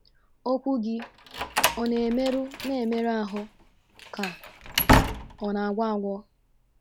Okwu gị ọ̀ na - emeru na - emeru ahụ, ka ọ na - agwọ agwọ?